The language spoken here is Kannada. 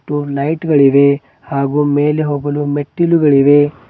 ಲೈಟ್ ಗಳಿವೆ ಹಾಗು ಮೇಲೆ ಹೋಗಲು ಮೆಟ್ಟಿಲುಗಳಿವೆ